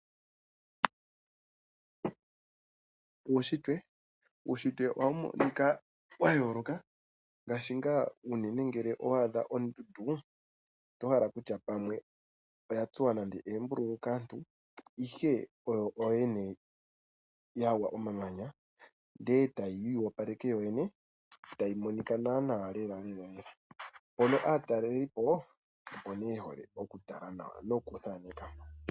Uunshitwe. Uunshitwe ohawuonika wa yooloka ngaashi ngaa unene ngele owa adha ondundu, Oto hala okutya pamwe oya tsuwa nande oombululu kaantu, ihe oyo yene ya gwa omamanya ndele etayi iyopaleke kuyo yene, etayi monika nawanawa lelalela. Mpono aatalelipo opo nee ye hole mpo nokuyi thaanekwa.